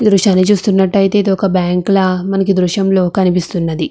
ఈ దృశ్యాన్ని చూస్తుంటే ఏదో ఒక బ్యాంకు లాగా దృశ్యంలో కనిపిస్తూ ఉన్నది.